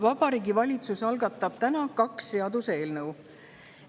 Vabariigi Valitsus algatab täna kaks seaduseelnõu.